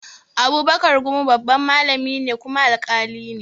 Abubakar gumi babban malami ne kuma alƙali ne